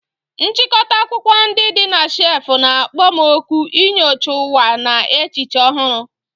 Nchịkọta akwụkwọ ndị dị na shelf na-akpọ m òkù inyocha ụwa na echiche ọhụrụ.